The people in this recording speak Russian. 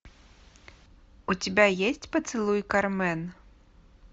у тебя есть поцелуй кармен